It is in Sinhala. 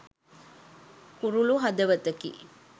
කුරුලු හදවතකි